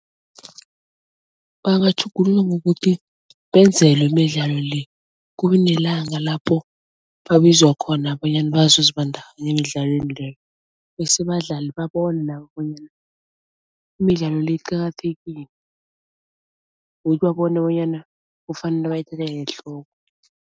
Bangatjhugulula ngokuthi benzelwe imidlalo le, kube nelanga lapho babizwa khona bonyana bazozibandakanya emidlalweni leyo bese abadlali babone nabo bonyana imidlalo le iqakathekile babone bonyana kufanele bayithathele ehloko.